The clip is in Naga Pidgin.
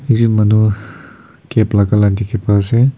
ekjun manu cap lagala dikhi pai ase.